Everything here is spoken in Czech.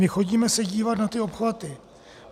My chodíme se dívat na ty obchvaty.